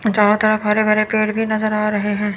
जहां तक हरे हरे पेड़ नजर आ रहे हैं।